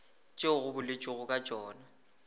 tšeo go boletšwego ka tšona